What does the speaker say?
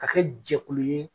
Ka kɛ jɛkulu ye.